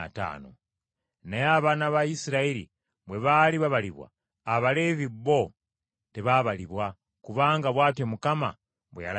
Naye abaana ba Isirayiri bwe baali babalibwa, Abaleevi bo tebaabalibwa, kubanga bw’atyo Mukama bwe yalagira Musa.